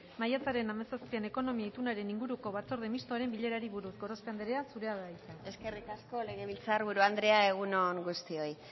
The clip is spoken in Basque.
maiatzaren hamazazpian asteazkena ekonomia itunaren inguruko batzorde mistoaren bilerari buruz gorospe anderea zurea da hitza eskerrik asko legebiltzar buru andrea egun on guztioi